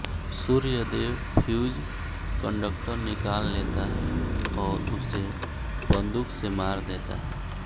Suryadev fuse conductor निकाल लेता है और उसे बंदूक से मार देता है